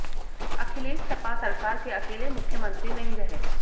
अखिलेश सपा सरकार के अकेले मुख्यमंत्री नहीं रहे